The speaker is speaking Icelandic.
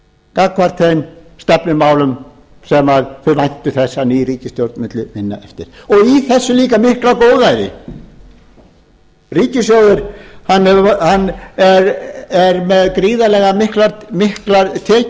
gagnvart þeim stefnumálum sem þeir væntu þess að ný ríkisstjórn mundi vinna við og í þessu líka mikla góðæri ríkissjóður er með gríðarlega miklar tekjur